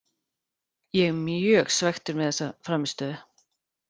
Ég er mjög svekktur með þessa frammistöðu.